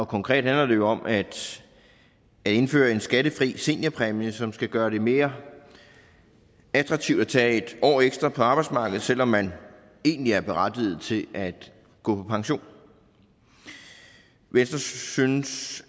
konkret handler det om at indføre en skattefri seniorpræmie som skal gøre det mere attraktivt at tage en år ekstra på arbejdsmarkedet selv om man egentlig er berettiget til at gå på pension venstre synes